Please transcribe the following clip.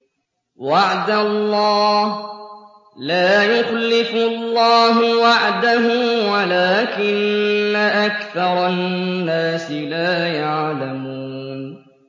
وَعْدَ اللَّهِ ۖ لَا يُخْلِفُ اللَّهُ وَعْدَهُ وَلَٰكِنَّ أَكْثَرَ النَّاسِ لَا يَعْلَمُونَ